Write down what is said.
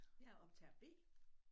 Jeg er optager B